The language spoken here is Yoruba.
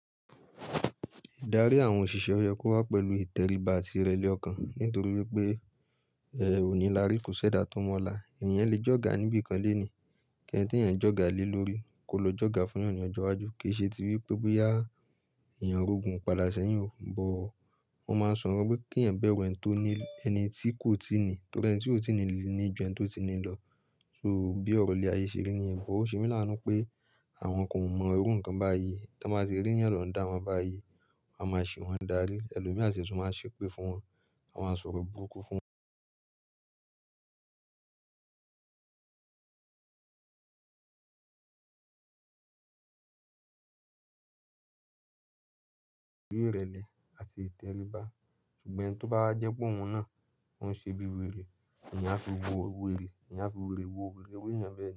Ìdarí àwọn òṣìṣẹ́ yẹ kó wá pẹ̀lú ìtẹríba àti ìrẹ̀lẹ̀ ọkàn. Nítorí wípé ẹ ò ní lári, kò ṣẹ̀dá tó mọ́la. Ẹ̀yàn lè jọ̀ga níbi kan lónìí, kí ẹni tí ẹ̀yàn jọ̀ga lé lórí kó lọ jọ̀ga fún ẹ̀yàn ní ọjọ́ iwájú. Kì í ṣe ti wípé bóyá ẹ̀yàn rogun padà sẹ́yìn o. Òun máa ń sọ wípé kí ẹ̀yàn bẹ́rù ẹni tí kò tíì ní ní ju ẹni tó ti ní lọ. So bí ọ̀rọ̀ ilè ayé ṣe rí ni ẹ̀yàǹ bo. Òun ṣe mí láanu pé àwọn kan mọ irú nǹkan báyìí tí wọ́n bá ti ri yan ni under wọn báyìí, won a máa ṣì wọ́n darí. Elo mí àsi sùn máa ṣépè fún wọn, wọn maṣọ ro búrukú fún wọn. Bí irẹlẹ̀ àti ìtẹríba. Ṣùgbọ́n eni tó bá jẹ́ pé òun náà ń ṣe bí wèrè, ẹ̀yàn á fi wèrè wo wèrè, ẹ̀yàn á fi wèrè wo wèrè, ẹni tí ẹ̀yàn bẹ́rù.